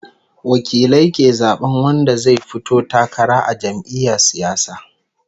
Wakilai ke zaɓan wanda zai fito takara a jam'iya siyasa